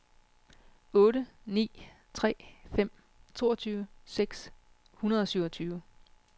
otte ni tre fem toogtyve seks hundrede og syvogtyve